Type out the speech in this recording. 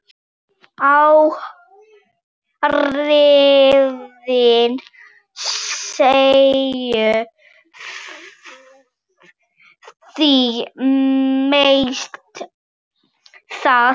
Áhrifin séu því mest þar.